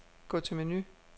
Gå til menu.